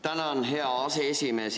Tänan, hea aseesimees!